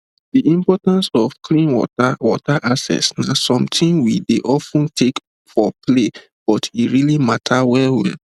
the importance of clean water water access na something we dey of ten take for play but e really matter wellwell